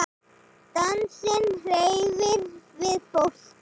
Dansinn hreyfir við fólki.